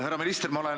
Härra minister!